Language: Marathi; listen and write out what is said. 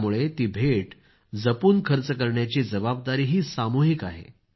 त्यामुळे ती भेट जपून खर्च करण्याची जबाबदारीही सामूहिक आहे